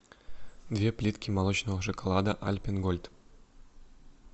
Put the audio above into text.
две плитки молочного шоколада альпен гольд